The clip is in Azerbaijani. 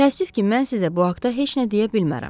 Təəssüf ki, mən sizə bu haqda heç nə deyə bilmərəm.